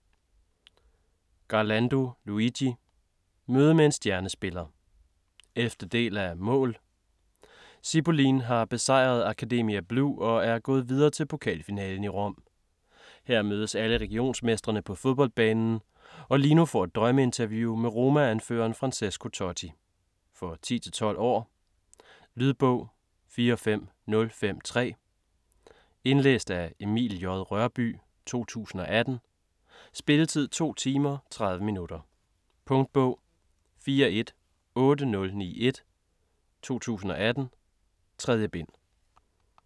Garlando, Luigi: Møde med en stjernespiller 11. del af Mål!. Cipolline har besejret Accademia Blu og er gået videre til pokalfinalen i Rom. Her mødes alle regionsmestrene på fodboldbanen og Lino får et drømmeinterview med Roma-anføreren Francesco Totti. For 10-12 år. Lydbog 45053 Indlæst af Emil J. Rørbye, 2018. Spilletid: 2 timer, 30 minutter. Punktbog 418091 2018. 3 bind.